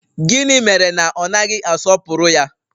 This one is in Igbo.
Gịnị mere na ọ naghị asọpụrụ ya?